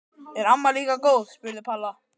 Er amma líka góð? spurði Palla.